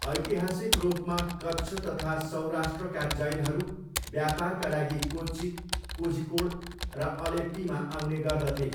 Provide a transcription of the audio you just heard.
ऐतिहासिक रूपमा कच्छ तथा सौराष्ट्रका जैनहरू व्यापारका लागि कोच्ची, कोझिकोड र अलेप्पीमा आउने गर्दथे।